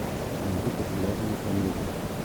найди популярные комедии